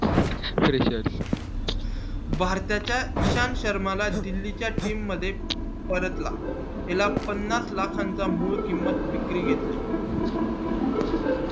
भारताच्या च्या इशान शर्मा ला दिल्ली च्या team मध्ये परतला त्याला पन्नास लाखा चा मूळ किमत विक्री घेतली